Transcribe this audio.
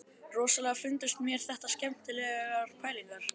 Rosalega fundust mér þetta skemmtilegar pælingar.